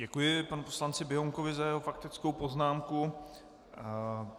Děkuji panu poslanci Běhounkovi za jeho faktickou poznámku.